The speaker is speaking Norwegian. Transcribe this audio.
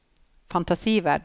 fantasiverden